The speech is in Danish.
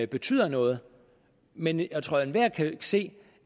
betyder noget men jeg tror at enhver kan se